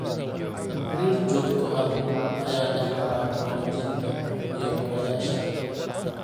Xiriir joogto ah ayaa dhexmara waalidiinta iyo barayaasha.